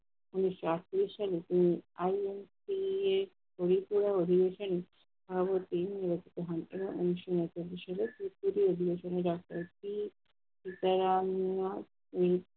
তিনি হয়েছেন ভারতে মুক্ত হন এবং উনিশশো উনচল্লিশ সালের